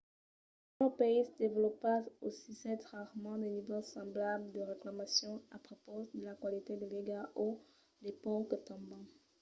dins los païses desvolopats ausissètz rarament de nivèls semblables de reclamacions a prepaus de la qualitat de l’aiga o de ponts que tomban